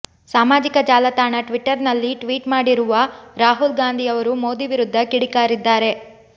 ಸಾಮಾಜಿಕ ಜಾಲತಾಣ ಟ್ವಿಟರ್ ನಲ್ಲಿ ಟ್ವೀಟ್ ಮಾಡಿರುವ ರಾಹುಲ್ ಗಾಂಧಿಯವರು ಮೋದಿ ವಿರುದ್ಧ ಕಿಡಿಕಾರಿದ್ದಾರೆ